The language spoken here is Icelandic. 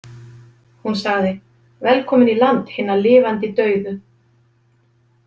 Hún sagði: Velkomin í land hinna lifandi dauðu.